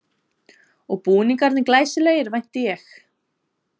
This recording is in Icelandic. Og búningarnir glæsilegir vænti ég?